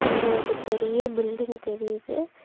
இங்க ஒரு பெரிய பில்டிங் தெரியுது.